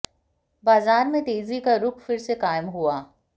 बाजार में तेजी का रुख फिर से कायम हुआ